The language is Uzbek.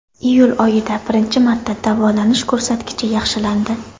Iyul oyida birinchi marta davolanish ko‘rsatkichi yaxshilandi.